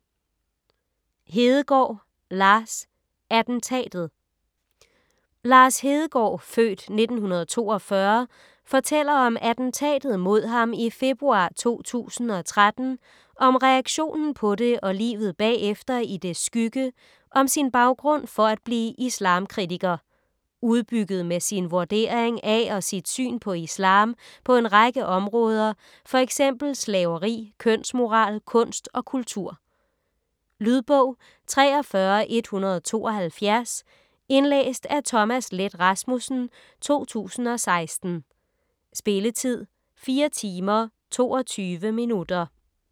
Hedegaard, Lars: Attentatet Lars Hedegaard (f. 1942) fortæller om attentatet mod ham i februar 2013, om reaktionen på det og livet bagefter i dets skygge, om sin baggrund for at blive islamkritiker - udbygget med sin vurdering af og sit syn på islam på en række områder, f.eks. slaveri, kønsmoral, kunst og kultur. Lydbog 43172 Indlæst af Thomas Leth Rasmussen, 2016. Spilletid: 4 timer, 22 minutter.